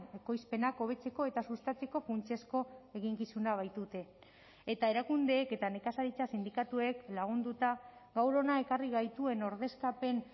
ekoizpenak hobetzeko eta sustatzeko funtsezko eginkizuna baitute eta erakundeek eta nekazaritza sindikatuek lagunduta gaur hona ekarri gaituen ordezkapen